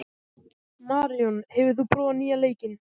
Maríon, hefur þú prófað nýja leikinn?